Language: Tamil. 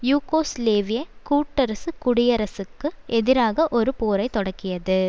யூகோஸ்லேவியக் கூட்டரசுக் குடியரசிற்கு எதிராக ஒரு போரை தொடக்கியது